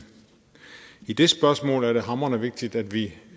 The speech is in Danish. i det spørgsmål er det hamrende vigtigt at vi